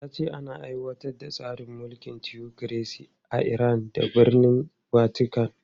Ya ce ana aiwatar da tsarin mulkin tiyokiresi a Iran da birnin Vatican.